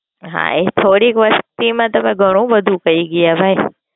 હા એ થોડીક Fun માં તમે ઘણું બધું કય ગયા ભાઇ.